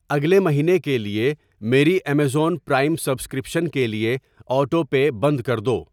اگلے مہینے کے لیے میری امیزون پرائم سبسکرپشن کے لیے آٹو پے بند کردو۔